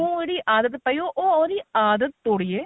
ਜਿਹੜੀ ਆਦਤ ਪਈ ਹੋ ਉਹ ਉਹਦੀ ਆਦਤ ਤੋੜਿਏ